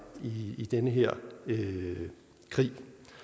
i den her krig